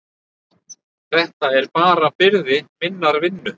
Þetta er bara byrði minnar vinnu.